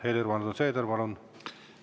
Helir‑Valdor Seeder, palun!